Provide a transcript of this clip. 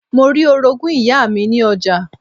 Mo rí Orogún ìyá mi ní ọjà